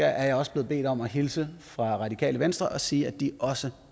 er jeg også blevet bedt om at hilse fra radikale venstre og sige at de også